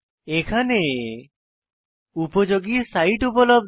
এখানে উপযোগী সাইট উপলব্ধ